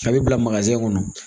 A bɛ bila kɔnɔ